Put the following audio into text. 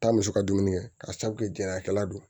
Taa muso ka dumuni kɛ ka sabu kɛ jɛnkila don